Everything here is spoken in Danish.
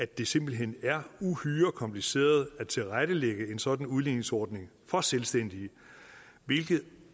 det simpelt hen er uhyre kompliceret at tilrettelægge en sådan udligningsordning for selvstændige hvilket